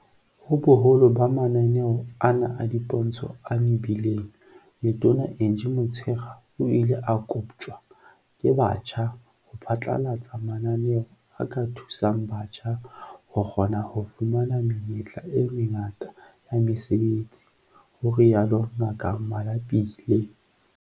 Ho boholo ba mananeo ana a dipontsho a mebileng, Letona Angie Motshekga o ile a koptjwa ke batjha ho phatlalatsa mananeo a ka thusang batjha ho kgona ho fumana menyetla e mengata ya mesebetsi, ho rialo Ngaka Malapile.